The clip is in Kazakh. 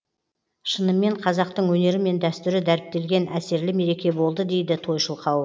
шынымен қазақтың өнері мен дәстүрі дәріптелген әсерлі мереке болды дейді тойшыл қауым